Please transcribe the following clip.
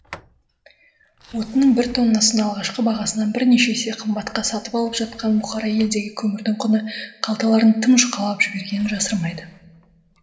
отынның бір тоннасын алғашқы бағасынан бірнеше есе қымбатқа сатып алып жатқан бұқара елдегі көмірдің құны қалталарын тым жұқалап жібергенін жасырмайды